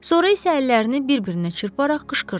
Sonra isə əllərini bir-birinə çırparaq qışqırdı.